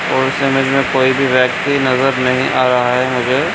और इसके कोई भी व्यक्ति नजर नहीं आ रहा है मुझे।